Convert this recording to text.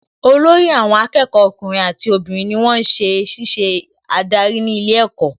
Olórí àwọn akẹ́kọ̀ọ́ ọkùnrin àti obìnrin ni wón ń ṣiṣẹ́ adarí ní ilé ẹ̀kọ́